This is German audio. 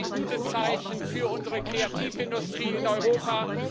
Das war ein gutes Zeichen für unsere Kreativindustrie in Europa.